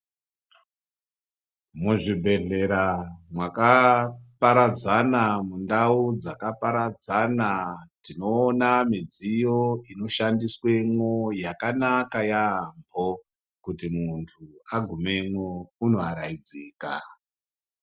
Muzvibhedhlera mwakaparadzana mundau dzakaparadzana tinoona midziyo inoshandiswemwo yakanaka yaamho. Kuti muntu agumemwo unoaraidzika.